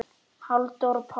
Halldór Pálsson